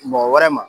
Mɔgɔ wɛrɛ ma